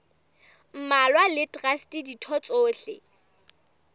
mmalwa le traste ditho tsohle